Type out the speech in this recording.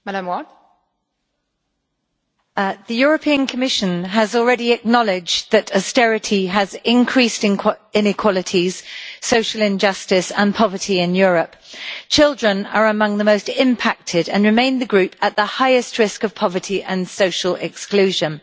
Madam President, the Commission has already acknowledged that austerity has increased inequalities, social injustice and poverty in Europe. Children are among the most impacted and remain the group at the highest risk of poverty and social exclusion.